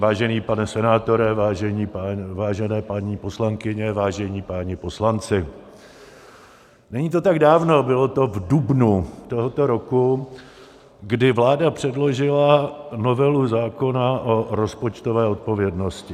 Vážený pane senátore, vážené paní poslankyně, vážení páni poslanci, není to tak dávno, bylo to v dubnu tohoto roku, kdy vláda předložila novelu zákona o rozpočtové odpovědnosti.